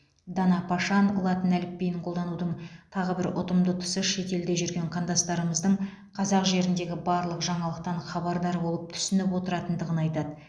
дана пашан латын әліпбиін қолданудың тағы бір ұтымды тұсы шетелде жүрген қандастарымыздың қазақ жеріндегі барлық жаңалықтан хабардар болып түсініп отыратындығын айтады